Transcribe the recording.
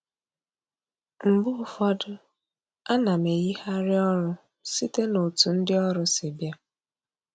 Mgbe ụfọdụ, a na m eyigharị ọrụ site n'otu ndị ọrụ si bịa